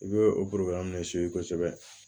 I bɛ o kosɛbɛ